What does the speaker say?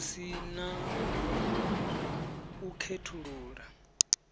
hu si na u khethulula